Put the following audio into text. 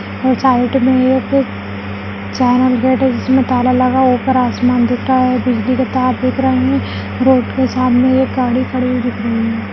और साइड में एक चैनल गेट है जिसमें ताला लगा ऊपर आसमान दिख रहा है बिजली के तार दिख रहे हैं रोड के सामने एक गाड़ी खड़ी हुई दिख रही है।